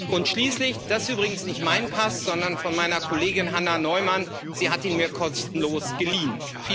Und schließlich das ist übrigens nicht mein Pass, sondern der meiner Kollegin Hanna Neumann sie hat ihn mir kostenlos geliehen.